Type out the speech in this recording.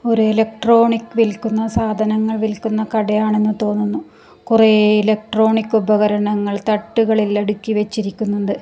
ഒരു ഇലക്ട്രോണിക് വിൽക്കുന്ന സാധനങ്ങൾ വിൽക്കുന്ന കടയാണെന്ന് തോന്നുന്നു കുറെ ഇലക്ട്രോണിക് ഉപകരണങ്ങൾ തട്ടുകളിൽ അടുക്കി വെച്ചിരിക്കുന്നുണ്ട്.